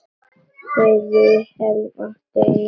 Þau Vilhelm áttu eina dóttur.